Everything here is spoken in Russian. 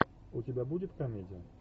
у тебя будет комедия